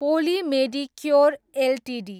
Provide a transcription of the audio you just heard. poli Medicure Ltd